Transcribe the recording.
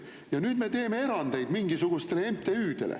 Ja nüüd me teeme erandeid mingisugustele MTÜ-dele.